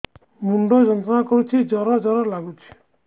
ମୁଣ୍ଡ ଯନ୍ତ୍ରଣା କରୁଛି ଜର ଜର ଲାଗୁଛି